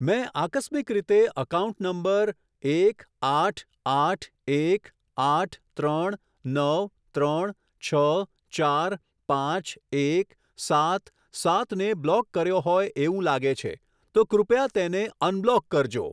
મેં આકસ્મિક રીતે એકાઉન્ટ નંબર એક આઠ આઠ એક આઠ ત્રણ નવ ત્રણ છ ચાર પાંચ એક સાત સાત ને બ્લોક કર્યો હોય એવું લાગે છે, તો કૃપયા તેને અનબ્લોક કરજો.